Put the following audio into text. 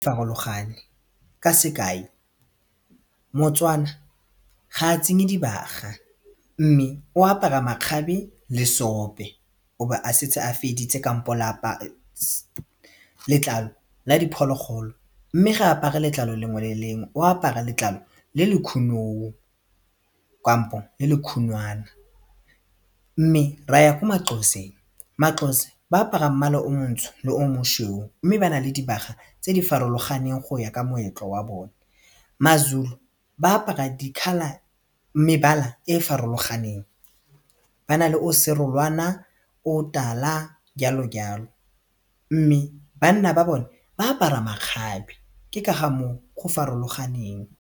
Farologane ka sekai motswana ga a tsenye dibaga mme o apara makgabe le seope o be a setse a feditse kampo letlalo la diphologolo mme ga apare letlalo lengwe le lengwe o apara letlalo le le khunou kampo le le khunwana mme raya ko maXhoseng, maXhosa ba apara mmala o montsho le o mošweu mme ba na le dibaga tse di farologaneng go ya ka moetlo wa bone, maZulu ba apara di-colour mebala e e farologaneng ba na le o serolwana, o tala, jalo jalo mme banna ba bone ba apara makgabe ke ka ga mo o go farologaneng.